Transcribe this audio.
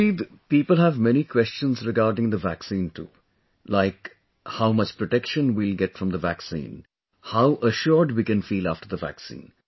Naveed people have many questions regarding the vaccine too, like how much protection we will get from the vaccine, how assured we can feel after the vaccine